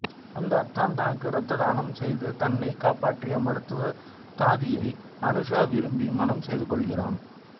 அந்த அத்தான் தனக்கு இரத்ததானம் செய்து தன்னைக் காப்பாற்றிய மருத்துவ தாதியை அனுஷா விரும்பி மணம் செய்து கொள்கிறான்